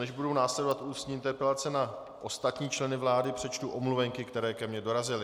Než budou následovat ústní interpelace na ostatní členy vlády, přečtu omluvenky, které ke mně dorazily.